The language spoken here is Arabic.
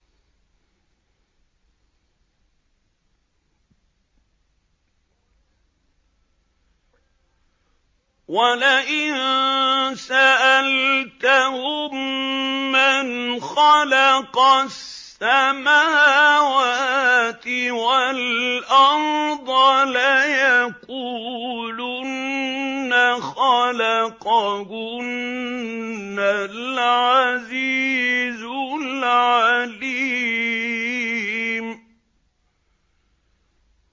وَلَئِن سَأَلْتَهُم مَّنْ خَلَقَ السَّمَاوَاتِ وَالْأَرْضَ لَيَقُولُنَّ خَلَقَهُنَّ الْعَزِيزُ الْعَلِيمُ